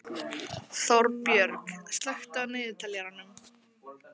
Þorbjörg, slökktu á niðurteljaranum.